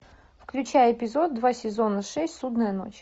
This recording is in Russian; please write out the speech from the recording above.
включай эпизод два сезона шесть судная ночь